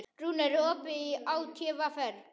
Rúnar, er opið í ÁTVR?